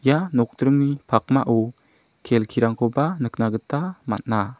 ia nokdringni pakmao kelkirangkoba nikna gita man·a.